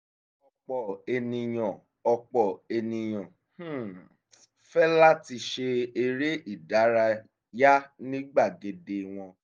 ọ̀pọ̀ ènìyàn ọ̀pọ̀ ènìyàn um fẹ́ láti ṣe eré ìdárayá ní gbàgede wọn